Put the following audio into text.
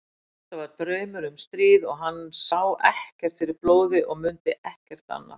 Þetta var draumur um stríð og hann sá ekkert fyrir blóði og mundi ekkert annað.